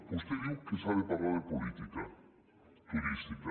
vostè diu que s’ha de parlar de política turística